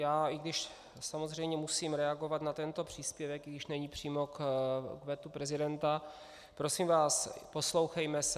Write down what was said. Já, i když samozřejmě musím reagovat na tento příspěvek, i když není přímo k vetu prezidenta, prosím vás, poslouchejme se.